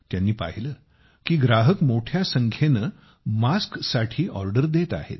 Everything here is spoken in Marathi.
त्यांनी पाहिले की ग्राहक मोठ्या संख्येने मास्कसाठी ऑर्डर देत आहेत